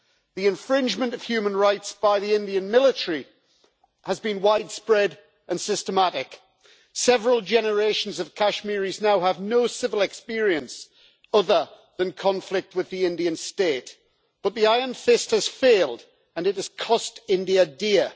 The infringement of human rights by the Indian military has been widespread and systematic. Several generations of Kashmiris now have no civil experience other than conflict with the Indian state, but the iron fist has failed, and it has cost India dear.